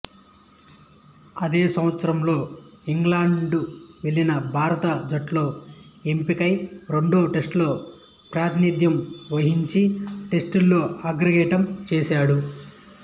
అదే సంవత్సరంలో ఇంగ్లాండ్ వెళ్ళిన భారత జట్టులో ఎంపికై రెండో టెస్టులో ప్రాతినిధ్యం వహించి టెస్టులలో ఆరంగేట్రం చేశాడు